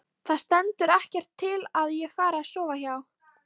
ÞAÐ STENDUR EKKERT TIL AÐ ÉG FARI AÐ SOFA HJÁ.